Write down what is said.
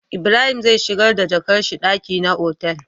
Ibrahim zai shigar da jakar shi daki na otal